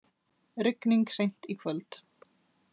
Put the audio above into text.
Rigning seint í kvöld